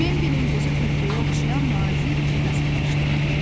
Bembinin gözü pöhrəyə düşən nazik ipə sataşdı.